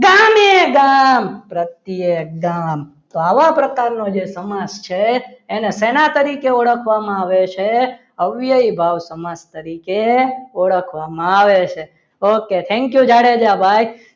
પ્રત્યેક ગામ આવા પ્રકારનો જે સમાસ છે એને સેના તરીકે ઓળખવામાં આવે છે. અવયવી ભાવ સમાસ તરીકે ઓળખવામાં આવે છે. okay thank you જાડેજા ભાઈ